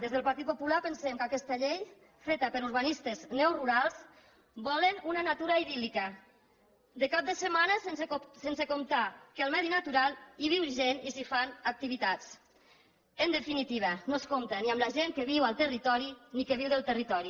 des del partit popular pensem que aquesta llei feta per urbanistes neorurals volen una natura idíllica de cap de setmana sense comptar que en el medi natural hi viu gent i s’hi fan activitats en definitiva no es compta ni amb la gent que viu al territori ni que viu del territori